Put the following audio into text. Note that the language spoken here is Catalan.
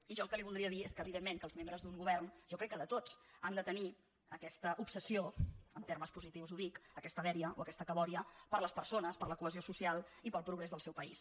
i jo el que li voldria dir és que evidentment que els membres d’un govern jo crec que de tots han de tenir aquesta obsessió en termes positius ho dic aquesta dèria o aquesta cabòria per les persones per la cohesió social i pel progrés del seu país